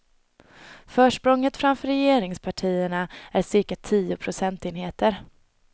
Försprånget framför regeringspartierna är cirka tio procentenheter.